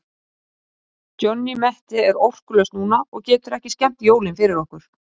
Johnny Mate er orkulaus núna og getur ekki skemmt jólin fyrir okkur.